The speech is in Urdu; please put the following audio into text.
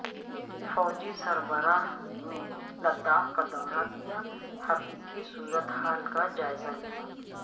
فوجی سربراہ نے لداخ کا دورہ کیا حقیقی صورتحال کا جائزہ لیا